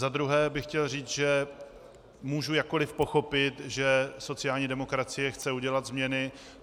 Za druhé bych chtěl říct, že můžu jakkoli pochopit, že sociální demokracie chce udělat změny.